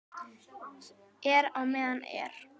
Er á meðan er.